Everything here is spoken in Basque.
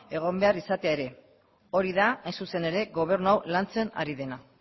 egon behar izatea ere hori da hain zuzen ere gobernu hau lantzen ari dena